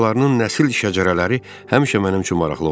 Başqalarının nəsil şəcərələri həmişə mənim üçün maraqlı olub.